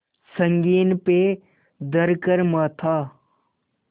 संगीन पे धर कर माथा